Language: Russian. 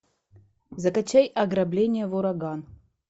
закачай ограбление в ураган